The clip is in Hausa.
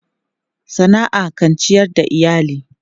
Sana'a kan ciyar da iyali.